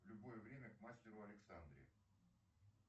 в любое время к мастеру александре